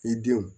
I denw